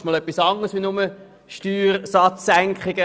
Das ist einmal etwas anderes als nur Steuersatzsenkungen.